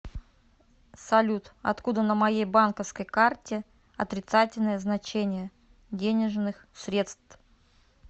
салют откуда на моей банковской карте отрицательное значение денежных средств